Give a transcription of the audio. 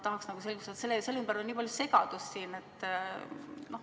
Tahaks nagu selgust, sest selle ümber on nii palju segadust.